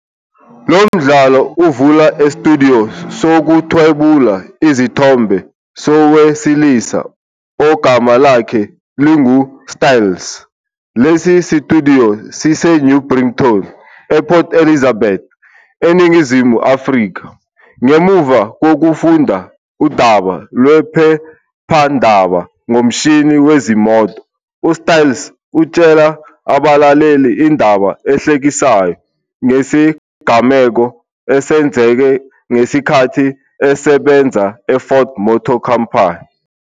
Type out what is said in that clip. Lo mdlalo uvula estudiyo sokuthwebula izithombe sowesilisa ogama lakhe linguStyles. Lesi situdiyo siseNew Brighton, ePort Elizabeth, eNingizimu Afrika. Ngemuva kokufunda udaba lwephephandaba ngomshini wezimoto, uStyles utshela abalaleli indaba ehlekisayo ngesigameko esenzeke ngesikhathi esebenza eFord Motor Company.